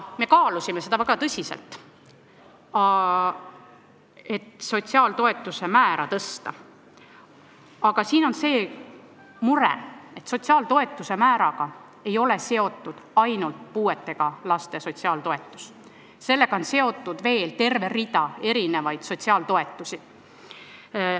Me kaalusime väga tõsiselt, kas sotsiaaltoetuste määra tõsta, aga siin on see mure, et sotsiaaltoetuste määraga ei ole seotud ainult puudega laste sotsiaaltoetus, vaid sellega on seotud veel terve rida sotsiaaltoetusi.